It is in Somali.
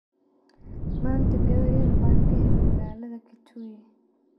Manta gawari yar ba kahele magaladha Kitui.